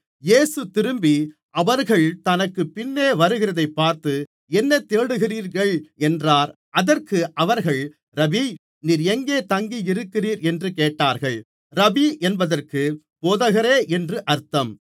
இயேசு திரும்பி அவர்கள் தனக்குப் பின்னே வருகிறதைப் பார்த்து என்ன தேடுகிறீர்கள் என்றார் அதற்கு அவர்கள் ரபீ நீர் எங்கே தங்கியிருக்கிறீர் என்று கேட்டார்கள் ரபீ என்பதற்கு போதகரே என்று அர்த்தம்